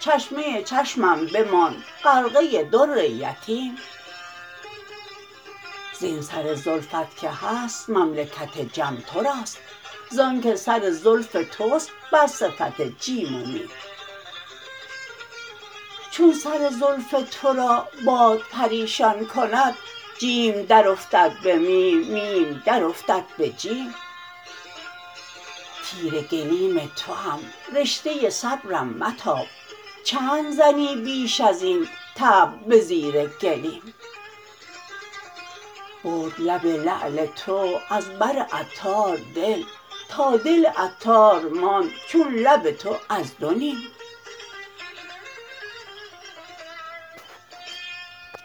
چشمه چشمم بماند غرقه در یتیم زین سر زلفت که هست مملکت جم توراست زانکه سر زلف توست بر صفت جیم و میم چون سر زلف تو را باد پریشان کند جیم در افتد به میم میم درافتد به جیم تیره گلیم توام رشته صبرم متاب چند زنی بیش ازین طبل به زیر گلیم برد لب لعل تو از بر عطار دل تا دل عطار ماند چون لب تو از دو نیم